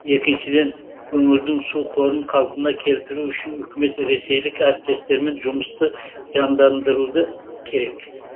екіншіден өңірдің су қорын қалпына келтіру үшін үкімет ресейлік әріптестермен жұмысты жандандыруды керек